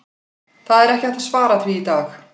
Það er ekki hægt að svara því í dag.